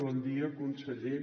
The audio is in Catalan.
bon dia conseller